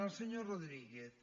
al senyor rodríguez